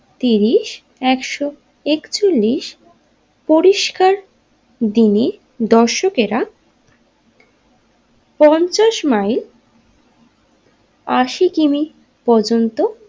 তিরিশ একশো একচল্লিশ পরিষ্কার দিনে দর্শকেরা পঞ্চাশ মাইল আশি কিমি পর্যন্ত।